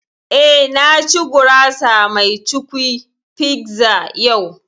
Eh, na ci gurasa mai cukwi (pizza) yau